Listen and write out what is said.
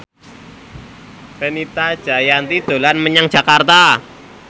Fenita Jayanti dolan menyang Jakarta